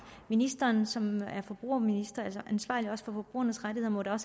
ministeren som er forbrugerminister altså ansvarlig også for forbrugernes rettigheder må da